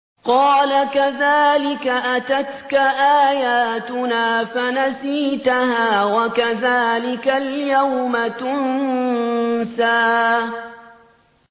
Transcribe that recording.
قَالَ كَذَٰلِكَ أَتَتْكَ آيَاتُنَا فَنَسِيتَهَا ۖ وَكَذَٰلِكَ الْيَوْمَ تُنسَىٰ